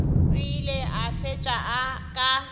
o ile a fetša ka